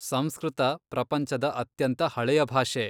ಸಂಸ್ಕೃತ ಪ್ರಪಂಚದ ಅತ್ಯಂತ ಹಳೆಯ ಭಾಷೆ.